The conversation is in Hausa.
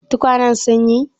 Tukwanen sun yi?